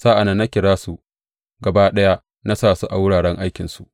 Sa’an nan na kira su gaba ɗaya na sa su a wuraren aikinsu.